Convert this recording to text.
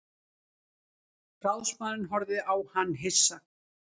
Ráðsmaðurinn horfði á hann hissa.